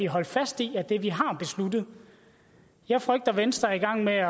holde fast i af det vi har besluttet jeg frygter venstre er i gang med at